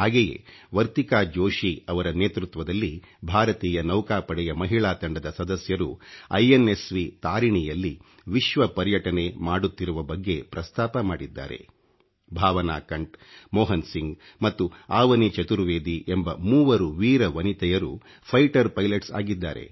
ಹಾಗೆಯೇ ವರ್ತಿಕಾ ಜೋಷಿ ಅವರ ನೇತೃತ್ವದಲ್ಲಿ ಭಾರತೀಯ ನೌಕಾ ಪಡೆಯ ಮಹಿಳಾ ತಂಡದ ಸದಸ್ಯರು IಓSಗಿ ಖಿಚಿಡಿiಟಿi ಯಲ್ಲಿ ವಿಶ್ವ ಪರ್ಯಟನೆ ಮಾಡುತ್ತಿರುವ ಬಗ್ಗೆ ಪ್ರಸ್ತಾಪ ಮಾಡಿದ್ದಾರೆ ಭಾವನಾ ಕಂಠ್ ಮೊಹನ್ ಸಿಂಗ್ ಮತ್ತು ಆವನಿ ಚತುರ್ವೆದಿ ಎಂಬ ಮೂವರು ವೀರ ವನಿತೆಯರು ಈighಣeಡಿ Piಟoಣs ಆಗಿದ್ದಾರೆ